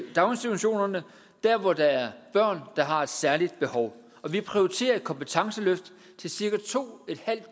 daginstitutionerne hvor der er børn der har et særligt behov vi prioriterer et kompetenceløft til cirka to